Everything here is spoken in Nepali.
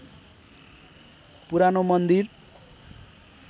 पुरानो मन्दिर